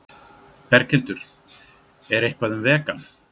Berghildur: Er eitthvað um vegan?